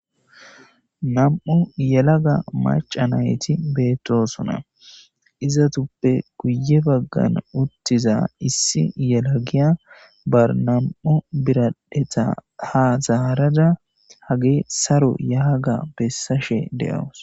Nam'u yelaga macca nayti beetosona izetuppe guye baggan uttida issi yelagiya ba nam'u biradheta ha zaarada hage saro ya ga bessashe de'awus.